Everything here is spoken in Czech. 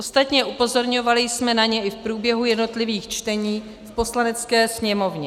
Ostatně upozorňovali jsme na ně i v průběhu jednotlivých čtení v Poslanecké sněmovně.